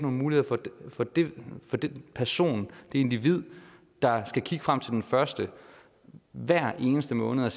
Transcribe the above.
muligheder for den person det individ der skal kigge frem til den første hver eneste måned og